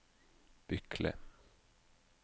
Bykle